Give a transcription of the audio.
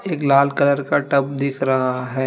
एक लाल कलर का टब दिख रहा है।